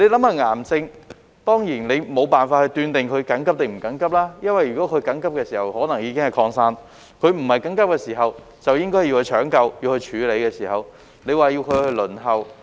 就癌症而言，你當然無法斷定是緊急或非緊急，因為如果是緊急的時候，可能已經擴散；在非緊急時就應該搶救、處理，但卻要病人輪候。